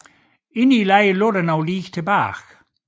Inde i lejren lå lig tilbage